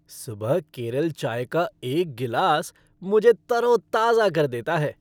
सुबह केरल चाय का एक गिलास मुझे तरोताजा कर देता है।